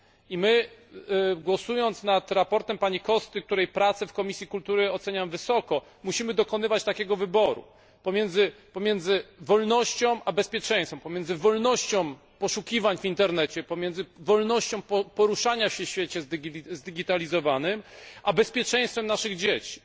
I my, głosując nad sprawozdaniem pani Costy, której pracę w Komisji Kultury oceniam wysoko, musimy dokonywać takiego wyboru pomiędzy wolnością a bezpieczeństwem, pomiędzy wolnością poszukiwań w Internecie, pomiędzy wolnością poruszania się w świecie zdigitalizowanym a bezpieczeństwem naszych dzieci.